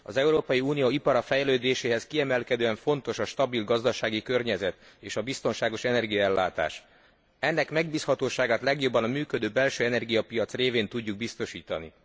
Az Európai Unió iparának fejlődéséhez kiemelkedően fontos a stabil gazdasági környezet és a biztonságos energiaellátás. Ennek megbízhatóságát legjobban a működő belső energiapiac révén tudjuk biztosítani.